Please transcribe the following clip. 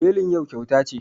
Belin yau kyauta ce